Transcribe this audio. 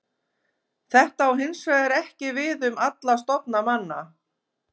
Þetta á hins vegar ekki við um alla stofna manna.